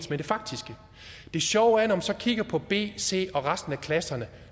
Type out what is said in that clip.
med det faktiske det sjove er man så kigger på b c og resten af klasserne